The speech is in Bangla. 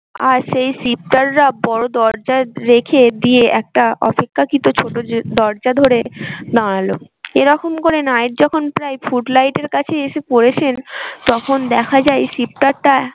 আর সেই রা বড়ো দরজায় রেখে দিয়ে একটা অপেক্ষাকৃত ছোটো দরজা ধরে দাঁড়ালো। এরকম করে নায়ক যখন প্রায় foot light এর কাছে এসে পড়ছেন তখন দেখা যায় টা